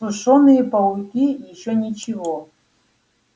сушёные пауки ещё ничего